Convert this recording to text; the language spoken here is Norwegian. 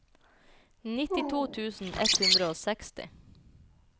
nittito tusen ett hundre og seksti